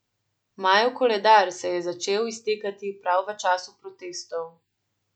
Majev koledar se je začel iztekati prav v času protestov.